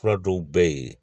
Fura dɔw bɛ yen